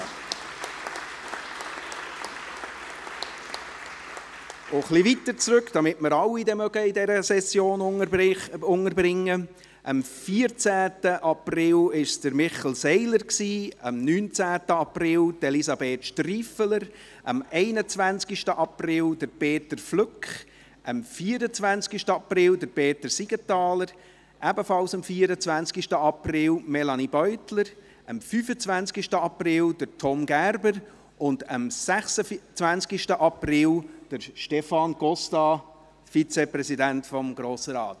Ein bisschen weiter zurück, damit wir alle in dieser Session unterbringen mögen, am 14. April hatte Michel Seiler Geburtstag, am 19. April Elisabeth Striffeler, am 21. April Peter Flück, am 24. April Peter Siegenthaler und ebenfalls am 24. April Melanie Beutler, am 25. April Tom Gerber und am 26. April Stefan Costa, Vizepräsident des Grossen Rates.